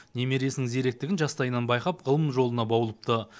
немересінің зеректігін жастайынан байқап ғылым жолына баулыпты